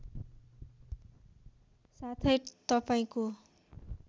साथै तपाईँको